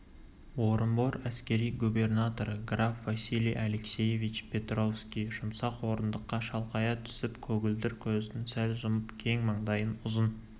орынбор әскери губернаторы граф василий алексеевич перовский жұмсақ орындыққа шалқая түсіп көгілдір көзін сәл жұмып кең маңдайын ұзын